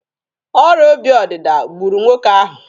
Ọrịa obi ọdịda gburu nwoke ahụ.